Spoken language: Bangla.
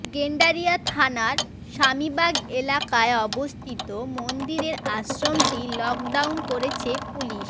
গেন্ডারিয়া থানার স্বামীবাগ এলাকায় অবস্থিত মন্দিরের আশ্রমটি লকডাউন করেছে পুলিশ